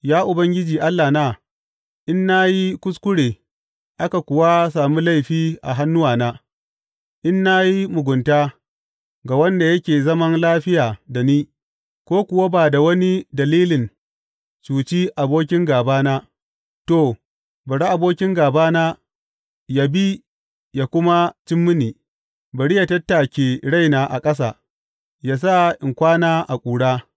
Ya Ubangiji Allahna, in na yi kuskure aka kuwa sami laifi a hannuwana, in na yi mugunta ga wanda yake zaman lafiya da ni ko kuwa ba da wani dalilin cuci abokin gābana, to, bari abokin gābana yă bi yă kuma cim mini; bari yă tattake raina a ƙasa ya sa in kwana a ƙura.